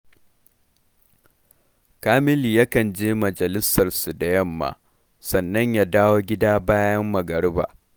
Kamilu yakan je majalisarsu da yamma, sannan ya dawo gida bayan magariba